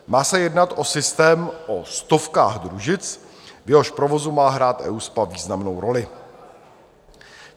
Má se jednat o systém o stovkách družic, v jehož provozu má hrát EUSPA významnou roli.